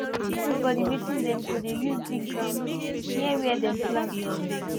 she been give everybody wetin dem go dey use dig ground near where dem plant